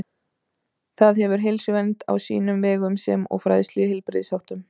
Það hefur heilsuvernd á sínum vegum sem og fræðslu í heilbrigðisháttum.